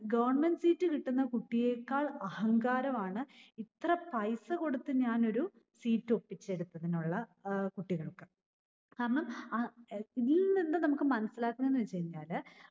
Government seat കിട്ടുന്ന കുട്ടിയേക്കാൾ അഹങ്കാരമാണ് ഇത്ര പൈസ കൊടുത്ത ഞാനൊരു seat ഒപ്പിച്ചെടുത്തതിനുള്ള ഏർ കുട്ടികൾക്ക്. കാരണം അഹ് ഏർ ഇതിൽനിന്ന് നമ്മക് മനസ്സിലാക്കേണ്ടത് എന്ന വെച്ചുകഴിഞ്ഞാല്